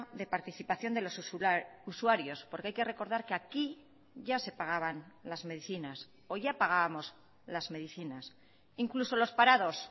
de participación de los usuarios porque hay que recordar que aquí ya se pagaban las medicinas o ya pagábamos las medicinas incluso los parados